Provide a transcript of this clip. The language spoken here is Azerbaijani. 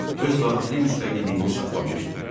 Öz daxili müstəqilliyini saxlamışdı.